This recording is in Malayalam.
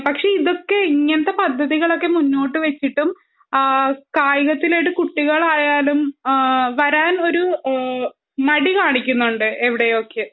ഇതൊക്കെ ഇങ്ങനത്തെ പദ്ധതികൾ മുന്നോട്ടു വച്ചിട്ടും കായികത്തിനു കുട്ടികൾ ആയാലും വരാൻ ഒരു മടി കാണിക്കുന്നുണ്ട് എവിടെയൊക്കെയോ